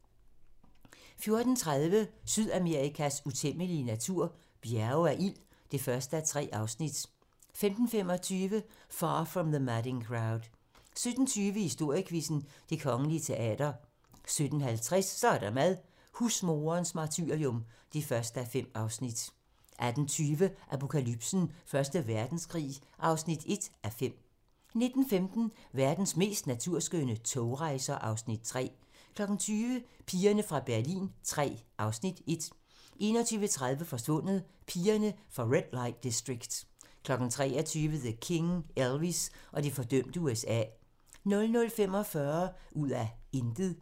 14:30: Sydamerikas utæmmelige natur - Bjerge af ild (1:3) 15:25: Far From the Madding Crowd 17:20: Historiequizzen: Det Kongelige Teater 17:50: Så er der mad - husmoderens martyrium (1:5) 18:20: Apokalypsen: Første Verdenskrig (1:5) 19:15: Verdens mest naturskønne togrejser (Afs. 3) 20:00: Pigerne fra Berlin III (Afs. 1) 21:30: Forsvundet: Pigerne fra Red Light District 23:00: The King - Elvis og det fordømte USA 00:45: Ud af intet